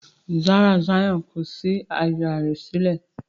Ràrá Zion kò sí àyá rẹ sílẹ̀.